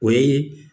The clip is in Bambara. O ye